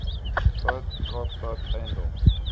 stad kaapstad eiendoms